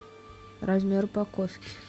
размер упаковки